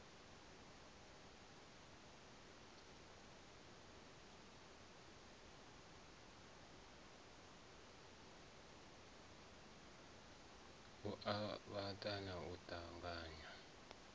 u avhanyisa na u ṱanganya